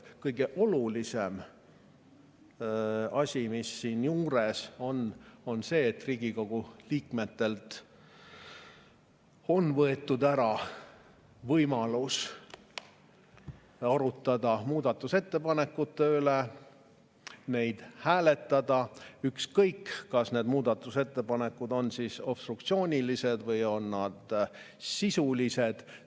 Kõige olulisem siinjuures on see, et Riigikogu liikmetelt on võetud ära võimalus arutada muudatusettepanekute üle, neid hääletada, ükskõik, kas need muudatusettepanekud on obstruktsioonilised või on need sisulised.